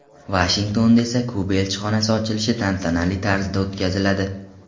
Vashingtonda esa Kuba elchixonasi ochilishi tantanali tarzda o‘tkaziladi.